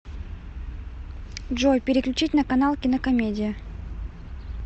джой переключить на канал кинокомедия